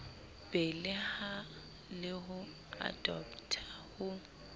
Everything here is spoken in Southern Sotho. beleha le ho adoptha ho